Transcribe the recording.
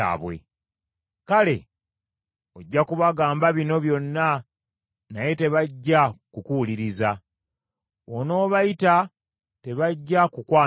“Kale ojja kubagamba bino byonna naye tebajja kukuwuliriza, bw’onoobayita tebajja kukwanukula.